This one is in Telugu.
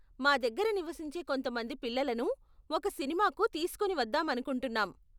మా దగ్గర నివసించే కొంత మంది పిల్లలను ఒక సినిమాకు తీసుకొని వద్దాం అనుకుంటున్నాం.